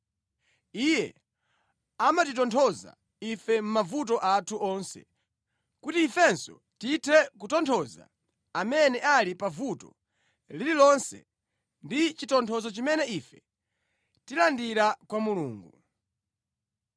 Iye amatitonthoza ife mʼmavuto athu onse, kuti ifenso tithe kutonthoza amene ali pavuto lililonse ndi chitonthozo chimene ife tilandira kwa Mulungu.